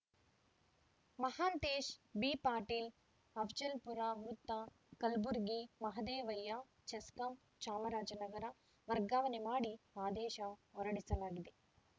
ಮಹಾಂತೇಶ್‌ ಬಿಪಾಟೀಲ್‌ ಅಫ್ಜಲ್‌ಪುರ ವೃತ್ತ ಕಲ್ಬುರ್ಗಿ ಮಹಾದೇವಯ್ಯ ಚೆಸ್ಕಾಂ ಚಾಮರಾಜನಗರ ವರ್ಗಾವಣೆ ಮಾಡಿ ಆದೇಶ ಹೊರಡಿಸಲಾಗಿದೆ